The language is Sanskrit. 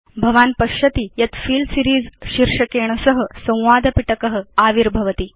भवान् पश्यति यत् फिल सीरीज़ शीर्षकेण सह संवाद पिटक आविर्भवति